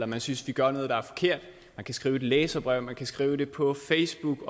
man synes vi gør noget der er forkert man kan skrive et læserbrev man kan skrive på facebook